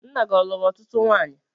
Nna gị ọ luru ọtụtụ nwanyị?